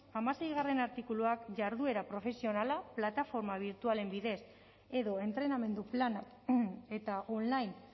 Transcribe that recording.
hamaseigarrena artikuluak jarduera profesionala plataforma birtualen bidez edo entrenamendu plana eta online